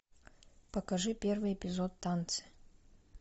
покажи первый эпизод танцы